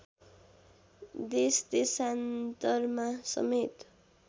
देशदेशान्तरमा समेत